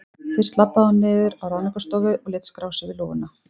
Fyrst labbaði hún niður á Ráðningarstofu og lét skrá sig við lúguna.